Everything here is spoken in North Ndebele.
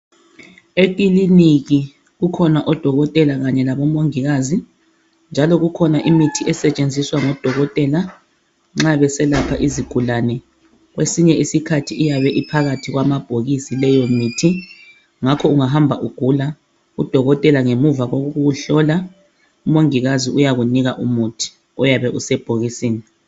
ekiliniki kukhona odokotela kanye labo mongikazi njalo kukhona imithi esetshenziswa ngabo dokotela nxa beselapha izigulane kwesinye isikhathi iyabe iphakathi kwamabhokisi leyo mithi ngakho ungahamba ugula u dokotela ngemva kokukuhlola u mongikazi uyakunika umuthi oyabe usebhokisini